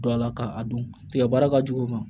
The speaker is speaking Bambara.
Dɔ la ka a don tigɛ baara ka jugu o ma